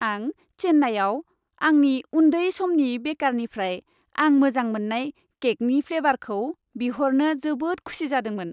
आं चेन्नाइआव आंनि उन्दै समनि बेकारनिफ्राय आं मोजां मोन्नाय केकनि फ्लेबारखौ बिहरनो जोबोद खुसि जादोंमोन।